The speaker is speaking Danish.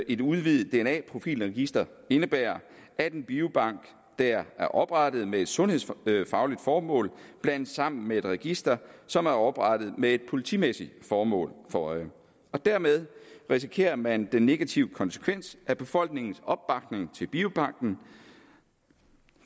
et udvidet dna profilregister indebærer at en biobank der er oprettet med et sundhedsfagligt formål blandes sammen med et register som er oprettet med et politimæssigt formål for øje og dermed risikerer man den negative konsekvens at befolkningens opbakning til biobanken